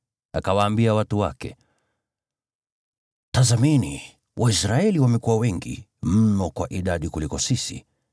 Akawaambia watu wake, “Tazameni, Waisraeli wamekuwa wengi mno kwa idadi kutuliko sisi.